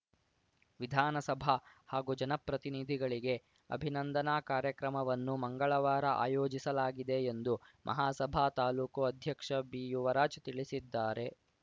ವಿಧಾನಸಭಾ ಹಾಗೂ ಜನಪ್ರತಿನಿಧಿಗಳಿಗೆ ಅಭಿನಂದನಾ ಕಾರ್ಯಕ್ರಮವನ್ನು ಮಂಗಳವಾರ ಆಯೋಜಿಸಲಾಗಿದೆ ಎಂದು ಮಹಾಸಭಾ ತಾಲೂಕು ಅಧ್ಯಕ್ಷ ಬಿಯುವರಾಜ್ ತಿಳಿಸಿದ್ದಾರೆ